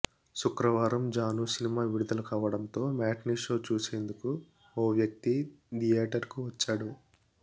శుక్రవారం జాను సినిమా విడుదల కావడంతో మ్యాట్నిషో చూసేందుకు ఓ వ్యక్తి థియేటర్కు వచ్చాడు